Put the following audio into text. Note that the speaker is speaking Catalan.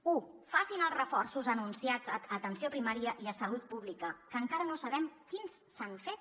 u facin els reforços anunciats a atenció primària i a salut pública que encara no sabem quins s’han fet